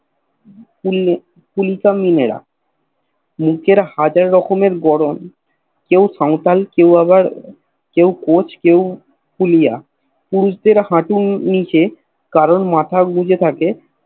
কুলি কামিনরা নিজের হাজার রকমের গড়ন কেও সাওতাল কেও আবার কেও কোচ কেও কুলিয়া পুরুষদের হাটুর নিচে কেও মাথা গুজে থাকে